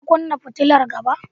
Ka kunnan fitilar gaba.